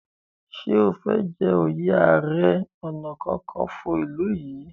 ṣe o fè jé oyè aré ọnà kankanfo ilú yí?